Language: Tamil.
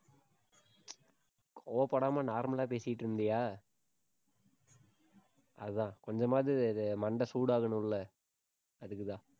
கோவப்படாம normal ஆ பேசிட்டு இருந்தியா அதான், கொஞ்சமாவது இது மண்டை சூடாகணும் இல்ல அதுக்குத்தான்.